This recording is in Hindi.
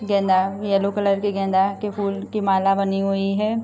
गेंदा येलो कलर की गेंदा के फूल की माला बनी हुई है।